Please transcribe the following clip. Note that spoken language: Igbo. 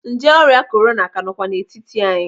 Nje ọrịa korona ka nọkwa n'etiti anyị.